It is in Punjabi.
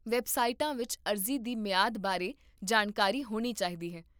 ਵੈੱਬਸਾਈਟਾਂ ਵਿੱਚ ਅਰਜ਼ੀ ਦੀ ਮਿਆਦ ਬਾਰੇ ਜਾਣਕਾਰੀ ਹੋਣੀ ਚਾਹੀਦੀ ਹੈ